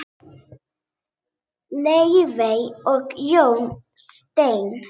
Laufey og Jón Steinn.